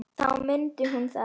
Þá mundi hún það.